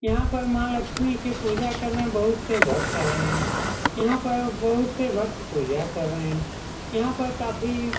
यहां पर माँ लक्ष्मी के पूजा करने बहुत से भक्त आये हैं यहां पर बहुत से भक्त पूजा कर रहें यहाँ पर काफी --